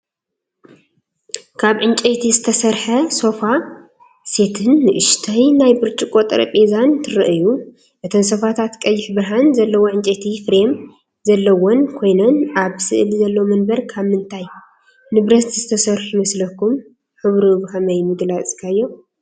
ካብ ዕንጨይቲ ዝተሰርሐ ሶፋ ሴትን ንእሽቶ ናይ ብርጭቆ ጠረጴዛን ትርእዩ። እተን ሶፋታት ቀይሕ ብርሃን ዘለዎ ዕንጨይቲ ፍሬም ዘለወን ኮይነን፡ ኣብ ስእሊ ዘለዉ መንበር ካብ ምንታይ ንብረት ዝተሰርሑ ይመስለኩም? ሕብሩ ብኸመይ ምገለጽካዮ?